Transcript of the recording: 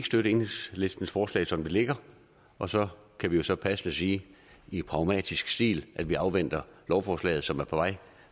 støtte enhedslistens forslag som det ligger og så kan vi jo så passende sige i pragmatisk stil at vi afventer lovforslaget som er på vej